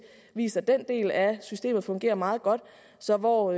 viser at den del af systemet fungerer meget godt så hvor